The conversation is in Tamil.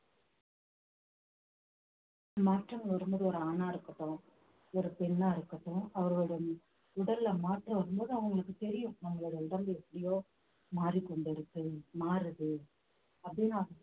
மாற்றம் வரும்போது ஒரு ஆணா இருக்கட்டும் ஒரு பெண்ணா இருக்கட்டும் அவர்களோட உடல்ல மாற்றம் வரும்போதுஅவங்களுக்கு தெரியும் நம்மளுடைய உடம்பு எப்படியோ மாறிக்கொண்டு இருக்கு மாறுது அப்படினு